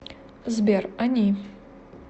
сбер они